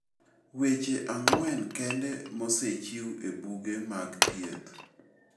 Weche ang'wen kende mosechiw e buge mag thieth.